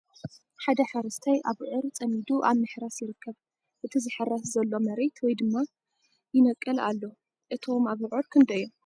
ሓደ ሓረስታይ ኣብዑር ፀሚዱ ኣብ ምሕራስ ይርከብ ።እቲ ዝሕረስ ዘሎ መሬት ወይ ድማ ይነቅል ኣሎ ። እቶ ኣብዑር ክንደይ እዮም ?